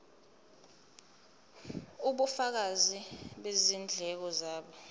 ubufakazi bezindleko zabo